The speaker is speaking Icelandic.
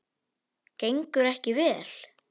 Gengur ekki vel?